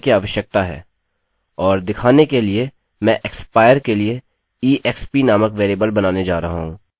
और दिखाने के लिए मैं expire के लिए exp नामक वेरिएबल बनाने जा रहा हूँ